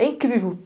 É incrível.